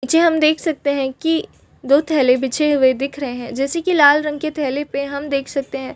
नीचे हम देख सकते हैं की दो थैले बीचे हुए दिख रहै हैं जैसे की लाल रंग के थैले पे हम देख सकते हैं।